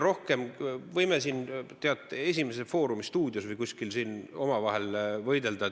Me võime "Esimeses stuudios" või "Foorumis" või kuskil siin omavahel võidelda.